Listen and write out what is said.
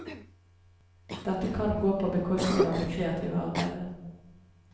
Dette kan gå på bekostning av det kreative arbeidet.